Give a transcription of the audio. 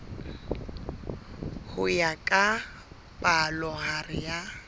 ho ya ka palohare ya